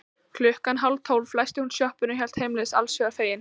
Klukkan hálftólf læsti hún sjoppunni og hélt heimleiðis allshugar fegin.